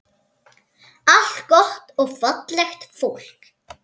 Allt gott og fallegt fólk.